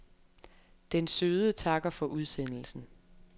Den søde takker for udsendelsen.